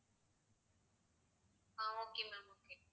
ah okay ma'am okay